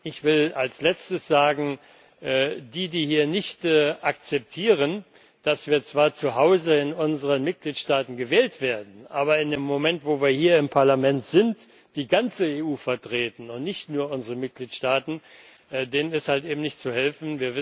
Ich will als Letztes sagen Diejenigen, die hier nicht akzeptieren, dass wir zwar zuhause in unseren Mitgliedstaaten gewählt werden, aber in dem Moment, wo wir hier im Parlament sind, die ganze EU vertreten und nicht nur unsere Mitgliedstaaten, denen ist halt eben nicht zu helfen.